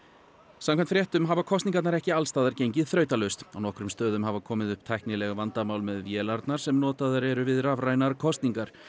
samkvæmt fréttum hafa kosningarnar ekki alls staðar gengið þrautalaust á nokkrum stöðum hafa komið upp tæknileg vandamál með vélarnar sem notaðar eru við rafrænar kosningar